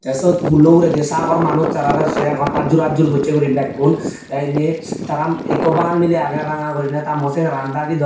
te sod pullo uguredi sagor manuj tarare se aagon aadjur aadjur gosse guri bekkun te inni tara ikko bangal mily aage ranga gurine ta mugo seran dagi don.